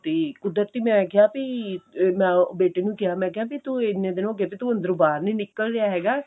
ਤੇ ਕੁਦਰਤੀ ਮੈਂ ਕਿਹਾ ਵੀ ਮੈਂ ਉਹ ਬੇਟੇ ਨੂੰ ਕਿਹਾ ਮੈਂ ਕਿਹਾ ਵੀ ਤੂੰ ਇੰਨੇ ਦਿਨ ਹੋਗੇ ਵੀ ਤੂੰ ਅੰਦਰੋਂ ਬਾਹਰ ਨਹੀਂ ਨਿੱਕਲ ਰਿਹਾ ਹੈਗਾ